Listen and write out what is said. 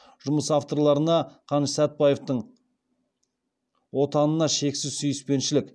жұмыс авторларына қаныш сәтбаевтың отанына шексіз сүйіспеншілік